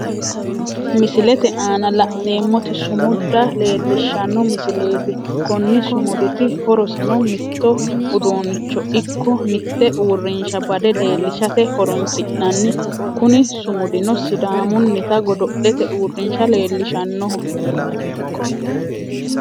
Misilete aanna la'neemoti sumuda leelishano misileeti konni sumuditi horoseno mitto uduunicho iko mitte uurinsha bade leelishate horoonsi'nanni kunni sumudino sidaamunnita godo'lete uurinsha leelishanoho.